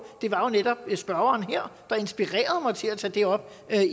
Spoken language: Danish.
det var jo netop spørgeren her der inspirerede mig til at tage det op